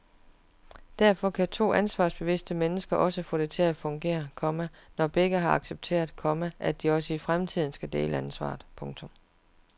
Derfor kan to ansvarsbevidste mennesker også få det til at fungere, komma når begge har accepteret, komma at de også i fremtiden skal dele ansvaret. punktum